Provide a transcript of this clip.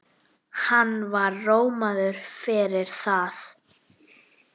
Hann var rómaður fyrir það.